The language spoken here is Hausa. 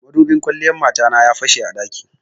Madubin kwalliyan mata na ya fashe a ɗaki.